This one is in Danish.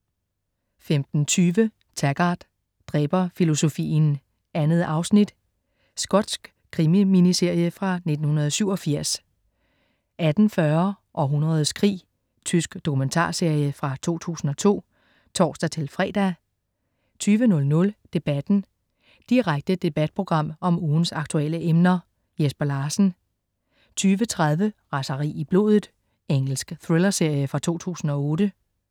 15.20 Taggart: Dræberfilosofien 2 afsnit. Skotsk krimi-miniserie fra 1987 18.40 Århundredets krig. Tysk dokumentarserie fra 2002 (tors-fre) 20.00 Debatten. Direkte debatprogram om ugens aktuelle emner. Jesper Larsen 20.30 Raseri i blodet. Engelsk thrillerserie fra 2008